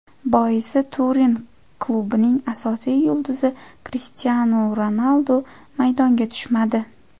Boisi, Turin klubining asosiy yulduzi Krishtianu Ronaldu maydonga tushmadi.